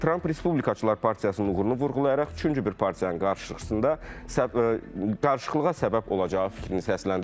Tramp respublikaçılar partiyasının uğurunu vurğulayaraq üçüncü bir partiyanın qarşısında qarışıqlığa səbəb olacağı fikrini səsləndirib.